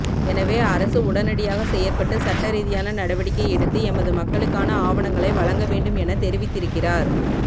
எனவே அரசு உடனடியாக செயற்பட்டு சட்டரீதியான நடவடிக்கை எடுத்து எமது மக்களுக்கான ஆவணங்களை வழங்க வேண்டும் எனத் தெரிவித்திருக்கிறார்